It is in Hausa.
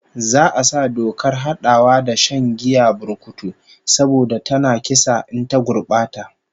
Za'a sa dokar hadawa da shan giyar burkutu saboda tana kisa in ta gurbata